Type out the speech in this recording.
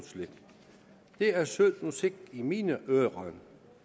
det er sød musik i mine ører